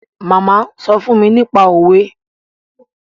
Màmá sọ fún mi nípa òwe